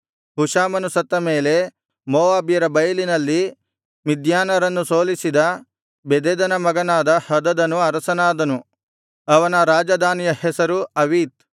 ಹುಷಾಮನು ಸತ್ತ ಮೇಲೆ ಮೋವಾಬ್ಯರ ಬೈಲಿನಲ್ಲಿ ಮಿದ್ಯಾನರನ್ನು ಸೋಲಿಸಿದ ಬೆದದನ ಮಗನಾದ ಹದದನು ಅರಸನಾದನು ಅವನ ರಾಜಧಾನಿಯ ಹೆಸರು ಅವೀತ್